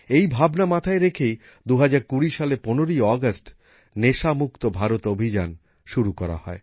এই ভাবনা মাথায় রেখেই ২০২০ সালের ১৫ই আগস্ট নেশা মুক্ত ভারত অভিযান শুরু করা হয়